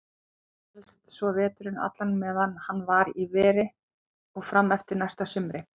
Hélst svo veturinn allan meðan hann var í veri og fram eftir næsta sumri.